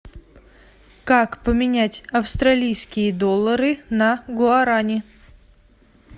как поменять австралийские доллары на гуарани